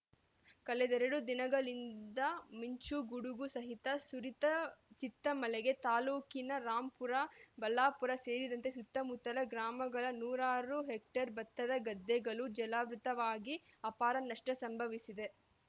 ಕಳೆದೆರಡು ದಿನಗಳಿಂದ ಮಿುಂಚು ಗುಡುಗು ಸಹಿತ ಸುರಿತ ಚಿತ್ತ ಮಳೆಗೆ ತಾಲೂಕಿನ ರಾಂಪುರ ಬುಳ್ಳಾಪುರ ಸೇರಿದಂತೆ ಸುತ್ತಮುತ್ತಲ ಗ್ರಾಮಗಳ ನೂರಾರು ಹೆಕ್ಟರ್‌ ಭತ್ತದ ಗದ್ದೆಗಳು ಜಲಾವೃತವಾಗಿ ಅಪಾರ ನಷ್ಟಸಂಭವಿಸಿದೆ